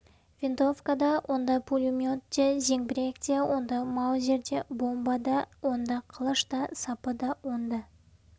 винтовка да онда пулемет те зеңбірек те онда маузер де бомба да онда қылыш сапы да онда